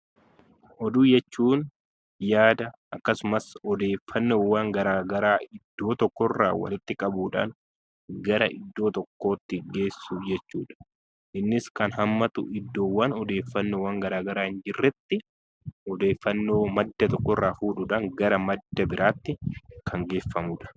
Oduu jechuun yada yookiin odeeffannoowwan garaagaraa iddoo tokkorraa walitti qabuudhaan gara iddoo tokkootti geessuu jechuudha. Innis kan hammatu iddoowwan odeeffannoowwan garaagaraa irratti odeeffannoo madda tokkorraa fuudhuun gara madda biraatti kan geeffamudha.